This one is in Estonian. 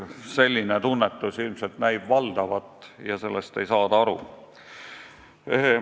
Selline tunnetus näib valdav olevat ja sellest ei saada aru.